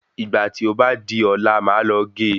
Ìgbà tí ó bá di ọ̀la máà lọ ge